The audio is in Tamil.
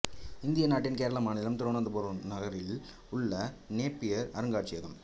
இந்திய நாட்டின் கேரள மாநிலம் திருவனந்தபுர நகரத்தில் உள்ளது நேப்பியர் அருங்காட்சியகம்